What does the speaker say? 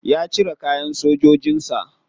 Ya cire kayan sojojin sa.